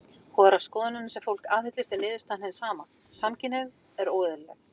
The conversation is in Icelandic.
Hvora skoðunina sem fólk aðhyllist er niðurstaðan hin sama: Samkynhneigð er óeðlileg.